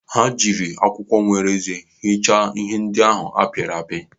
Ha jiri akwụkwọ nwere eze hichaa ihe ndị ahụ a pịrị apị.